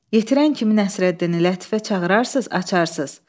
Yetirən kimi Nəsrəddini Lətifə çağırarsız, açarsız.